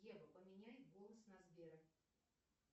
ева поменяй голос на сбера